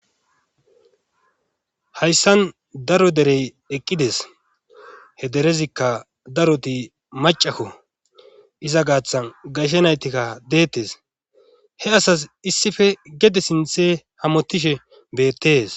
hayssan daro derey eqqides he derezikka daroti macakko iza gaaththa gayshe naytikka deettes he asas issife gede sinthe hamottishe beettees